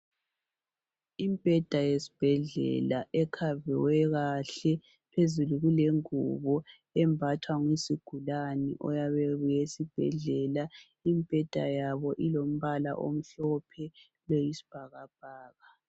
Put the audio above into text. Imbheda yesibhedlela ekhave kahle, phezulu kulengubo embathwa yizigulayo oyabe ebuye esibhedlela. Imbheda yabo ilombala omhlophe oyisibhakabhaka.